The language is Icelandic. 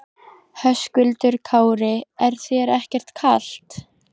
Höskuldur Kári: Er þér ekkert kalt?